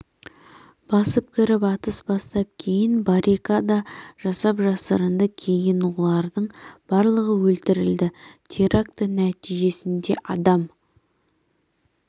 басып кіріп атыс бастап кейін баррикада жасап жасырынды кейін олардың барлығы өлтірілді теракті нәтижесінде адам